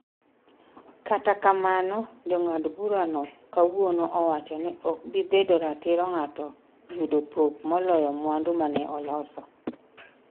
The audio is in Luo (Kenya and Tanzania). kata kamano, jang'ad burano kawuono owacho ni ok bi bedo ratiro ng'ato yudo pok moloyo mwandu mane oloso